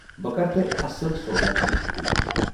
بہٕ کرٕ تۄہہِ اصل سودا دِنٕچ کوُشِش۔